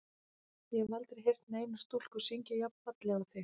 Ég hef aldrei heyrt neina stúlku syngja jafn fallega og þig.